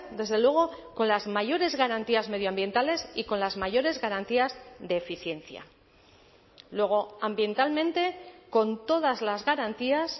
desde luego con las mayores garantías medioambientales y con las mayores garantías de eficiencia luego ambientalmente con todas las garantías